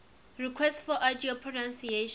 requests for audio pronunciation